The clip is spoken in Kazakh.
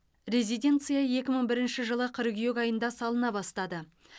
резиденция екі мың бірінші жылы қыркүйек айында салына бастады